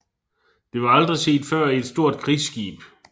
Det var aldrig set før i et stort krigsskib